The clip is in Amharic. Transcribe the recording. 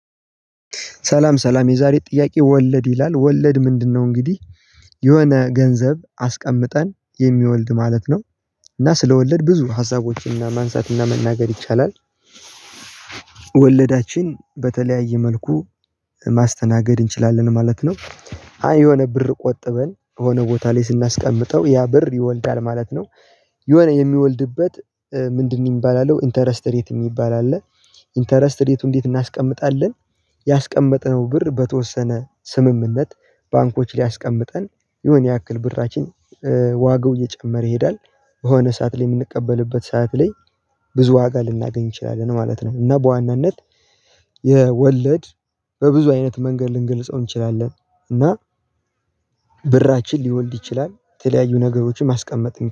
ሰላም ሰላም የዛሬ ጥያቄ ወለድ ይላል ወለድ ምንድነው? እንግዲህ የሆነ ገንዘብ አስቀምጠን የሚወልድ ማለት ነው። እና ስለወለድ ብዙ ሀሳቦችን እና ማንሳት እና መናገር ይቻላል። ወለዳችን በተለያየ መልኩ ማስተናገድ እንችላለን ማለት ነው። አይ የሆነ ብር ቆጥበን የሆነ ቦታ ላይ ስናስቀምጠው ያ ብር ይወልዳል ማለት ነው። የሆነ የሚወልድበት ምንድነው? የሚባል አለው ኢንተረስትሬት የሚባል አለ። ኢንተረስትሬትቱን እንዴት እናስቀምጣለን? ያስቀመጥነው ብር በተወሰነ ስምምነት ባንኮች ላይአስቀምጠን ይሆነ ያክል ብራችን። ዋጋው እየጨመረ ይሄዳል በሆነ ሰዓት ላይ የምንቀበልበት ሰዓት ላይ ብዙ ዋጋ ልናገኝ እንችላለን ማለት ነው። እና በዋናነት የወለድ በብዙ አይነት መንገድ ልንገልጸው እንችላለን። እና ብራችን ሊወልድ ይችላል የተለያዩ ነገሮችን ማስቀመጥ